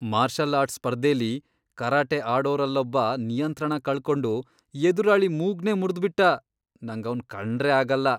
Marshal arts ಸ್ಪರ್ಧೆಲಿ karate ಆಡೋರಲ್ಲೊಬ್ಬ ನಿಯಂತ್ರಣ ಕಳ್ಕೊಂಡು ಎದುರಾಳಿ ಮೂಗ್ನೇ ಮುರ್ದ್ಬಿಟ್ಟ, ನಂಗವ್ನ್ ಕಂಡ್ರೇ ಆಗಲ್ಲ.